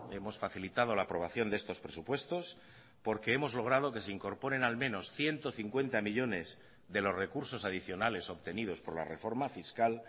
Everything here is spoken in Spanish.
hemos facilitado la aprobación de estos presupuestos porque hemos logrado que se incorporen al menos ciento cincuenta millónes de los recursos adicionales obtenidos por la reforma fiscal